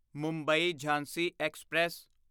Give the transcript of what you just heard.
Mumbai Jhansi express